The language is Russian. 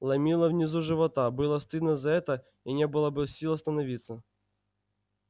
ломило внизу живота было стыдно за это и не было сил остановиться